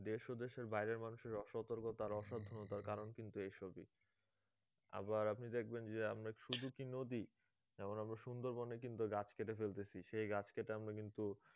দেশ ও দেশের বাইরের মানুষের অসতর্কতা আর অসাবধানতার কারণ কিন্তু এসবই আবার আপনি দেখবেন যে আমরা শুধু কী নদী যেমন আমরা সুন্দর বনে কিন্তু গাছ কেটে ফেলতেছি সে গাছ কেটে আমরা কিন্তু